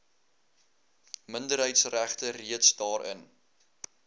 minderheidsregte reeds daarin